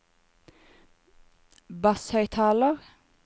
basshøyttaler